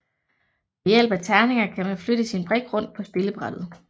Ved hjælp af terninger kan man flytte sin brik rundt på spillebrættet